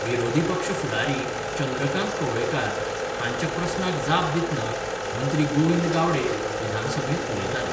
विरोधी पक्ष फुडारी चंद्रकांत कवळेकार हांच्या प्रस्नाक जाप दितनां मंत्रीगोविंद गावडे विधानसभेंत उलयताले.